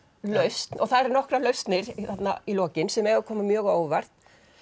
lausn og það eru nokkrar lausnir þarna í lokin sem eiga að koma mjög á óvart